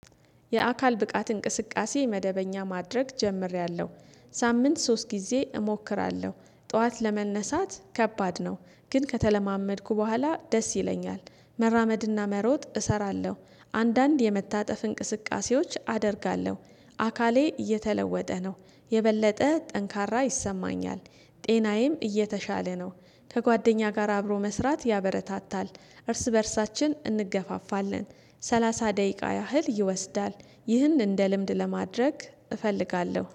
የአካል ብቃት እንቅስቃሴ መደበኛ ማድረግ ጀምሬያለሁ ሳምንት ሶስት ጊዜ እሞክራለሁ ጠዋት ለመነሳት ከባድ ነው ግን ከተለማመድኩ በኋላ ደስ ይለኛል። መራመድና መሮጥ እሰራለሁ አንዳንድ የመታጠፍ እንቅስቃሴዎች አደርጋለሁ። አካሌ እየተለወጠ ነው የበለጠ ጠንካራ ይሰማኛል። ጤናዬም እየተሻለ ነው። ከጓደኛ ጋር አብሮ መስራት ያበረታታል እርስ በእርሳችን እንገፋፋለን። ሰላሳ ደቂቃ ያህል ይወስዳል። ይህን እንደ ልምድ ለማድረግ እፈልጋለሁ